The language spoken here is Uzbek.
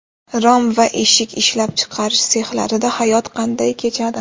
Rom va eshik ishlab chiqarish sexlarida hayot qanday kechadi?.